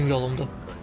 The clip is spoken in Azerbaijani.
Mənim yolumdur.